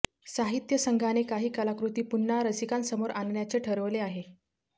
साहित्य संघाने काही कलाकृती पुन्हा रसिकांसमोर आणण्याचे ठरवले आहे